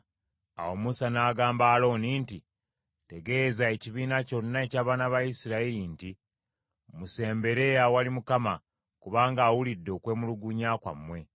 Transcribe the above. Awo Musa n’agamba Alooni nti, “Tegeeza ekibiina kyonna eky’abaana ba Isirayiri nti, ‘Musembere awali Mukama , kubanga awulidde okwemulungunya kwammwe!’ ”